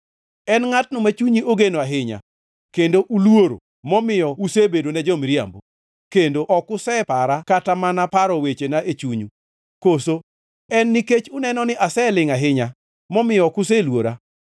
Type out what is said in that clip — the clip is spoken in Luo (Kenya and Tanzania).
“En ngʼatno ma chunyu ogeno ahinya kendo uluoro, momiyo usebedona jo-miriambo, kendo ok usepara kata mana paro wechena e chunyu? Koso en nikech uneno ni aselingʼ ahinya, momiyo ok useluora?